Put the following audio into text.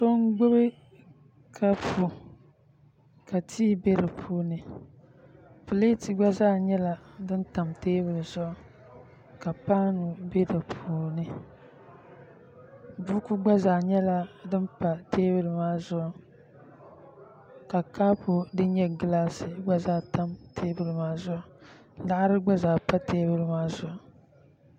So n gbubi kapu ka tii bɛ di puuni pileet gba zaa nyɛla din tam teebuli zuɣu ka paanu bɛ di puuni buku gba zaa nyɛla din pa teebuli maa zuɣu ka kaapu din nyɛ gilaas gba zaa tam teebuli maa zuɣu laɣari gba zaa pa teebuli maa zuɣu